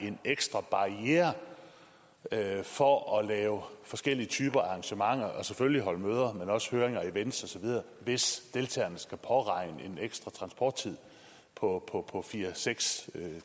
en ekstra barriere for at lave forskellige typer af arrangementer selvfølgelig holde møder men også høringer events og så videre hvis deltagerne skal påregne en ekstra transporttid på fire seks